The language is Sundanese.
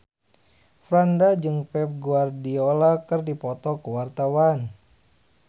Franda jeung Pep Guardiola keur dipoto ku wartawan